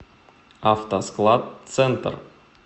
автоскладцентр